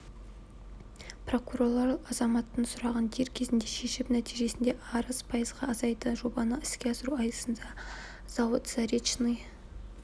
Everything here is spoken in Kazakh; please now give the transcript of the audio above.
прокурорлар азаматтың сұрағын дер кезінде шешіп нәтижесінде арыз пайызға азайды жобаны іске асыру аясында зауыт заречный